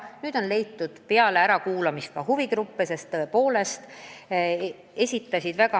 Nüüd me oleme huvigrupid ära kuulanud.